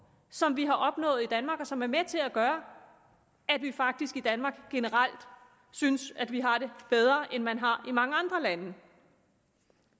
som vi har opnået i danmark og som er med til at gøre at vi faktisk i danmark generelt synes at vi har det bedre end man har i mange andre lande